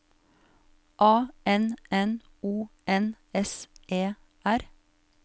A N N O N S E R